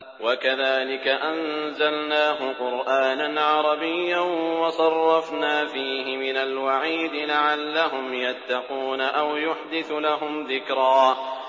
وَكَذَٰلِكَ أَنزَلْنَاهُ قُرْآنًا عَرَبِيًّا وَصَرَّفْنَا فِيهِ مِنَ الْوَعِيدِ لَعَلَّهُمْ يَتَّقُونَ أَوْ يُحْدِثُ لَهُمْ ذِكْرًا